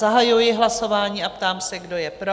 Zahajuji hlasování a ptám se, kdo je pro?